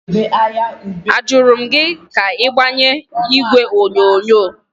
Ajụrụ m gị ka ị gbanye igwe onyonyo?